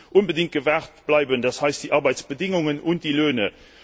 muss unbedingt gewahrt bleiben, das heißt, die Arbeitsbedingungen und die Löhne.